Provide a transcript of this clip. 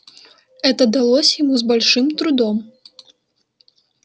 это далось ему с большим трудом